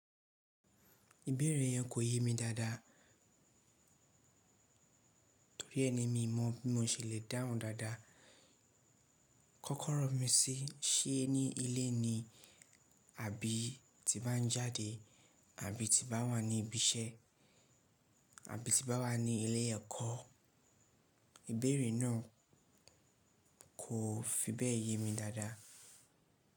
Ìbéèrè yẹn kò yé mi dáadáa torí ẹni mi mọ̀ bí mio ṣe lè dáhùn dáadáa. Kọ́kọ́rọ́ mi sí i, ṣé ní ilé ni àbí ti baá ń jáde àbí ti baá wà ní ibi iṣẹ́ àbí ti baá wà ní ilé ẹ̀kọ́, ìbéèrè náà kò fi bẹ́ẹ̀ yé mi dáadáa.